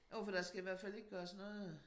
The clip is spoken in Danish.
Jo for der skal i hvert fald ikke gøres noget